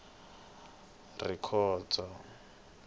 rikhondzo